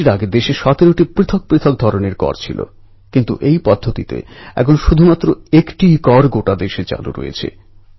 ইমেলে একতা লিখছে যে কোনও অ্যাথলিটের জীবনে মাহেন্দ্রক্ষণ সেটাই যখন সে তেরঙ্গা জড়িয়ে ধরে আর আমার গর্ব যে আমি তা করে দেখিয়েছি